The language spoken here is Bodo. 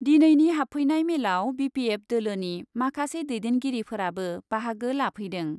दिनैनि हाबफैनाय मेलआव बि पि एफ दोलोनि माखासे दैदेनगिरिफोराबो बाहागो लाफैदों।